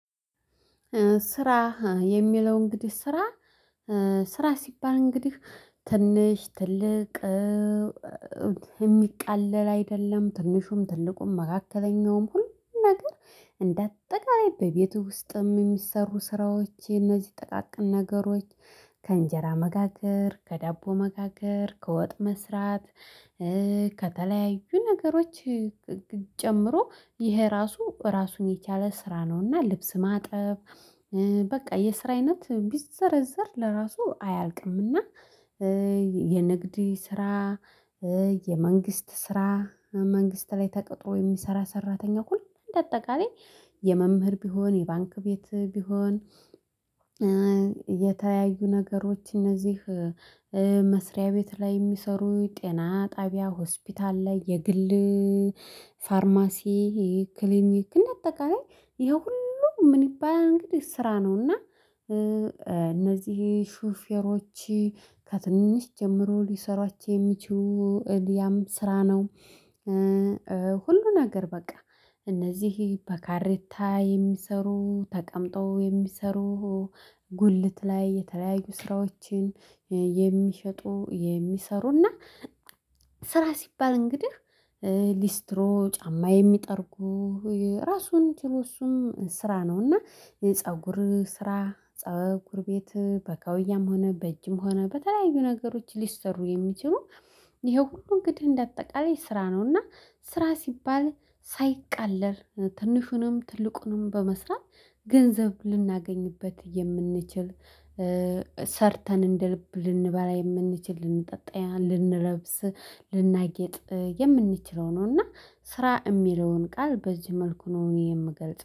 ስራ የሚለው እንግዲህ ስራ ስራ ሲባል እንግዲህ ትንሽ ትልቅ። የሚቃለል አይደለም ትንሹም ትልቁም መካከለኛውም ሁሉን ነገር እንደ አጠቃላይ በቤቱ ውስጥም የሚሰሩ ስራዎች የነዚህ ጠቃቅን ነገሮች ከእንጀራ መጋገር ከዳቦ መጋገር ከወጥ መስራት። ከተለያዩ ነገሮች ጨምሮ ይሄ ራሱ ራሱን የቻለ ስራ ነውና ልብስ ማጥበብ። በቃ የስራይነት ቢዘረዘር ለራሱ አያልቅምና የንግድ ስራ። የመንግስት ስራ መንግስት ላይ ተቀጥሮ የሚሰራ ሰራተኛ እኩል እንደ አጠቃላይ የመምህር ቢሆን የባንክ ቤት ቢሆን። የተያዩ ነገሮች እነዚህ መስሪያ ቤት ላይ የሚሰሩ ጤና ጣቢያ ሆስፒታል ላይ የግል ፋርማሲ ክሊኒክ እንደተቀረጭ ይሄ ሁሉ ምን ይባላል እንግዲህ ስራ ነው። እና እነዚህ ሹፌሮች ከትንሽ ጀምሮ ሊሰሯቸው የሚችው እልያም ስራ ነው። ሁሉ ነገር በቃ እነዚህ በካሬታ የሚሰሩ ተቀምጦ የሚሰሩ። ጉልት ላይ የተለያዩ ስራዎችን የሚሸጡ የሚሰሩ እና ስራ ሲባል እንግዲህ ሊስትሮ ጫማ የሚጠርጉ ራሱን ጭሩ እሱም ስራ ነው። እና ፀጉር ስራ ፀጉር ቤት በከውያም ሆነ በእጅም ሆነ በተለያዩ ነገሮች ሊሰሩ የሚችሉ ይሄ ሁሉ እንግዲህ እንደ አጠቃላይ ስራ ነውና። ስራ ሲባል ሳይቃለል ትንሹንም ትልቁንም በመስራት ገንዘብ ልናገኝበት የምንችል ሰርተን እንደልብ ልንበላ የምንችል ልንጠጣ ልንለብስ ልናጌጥ የምንችለው ነው። ነውና ስራ የሚለውን ቃል በዚህ መልኩ ነው እኔ የምገልጽ